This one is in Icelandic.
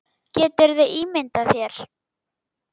Geturðu ímyndað þér.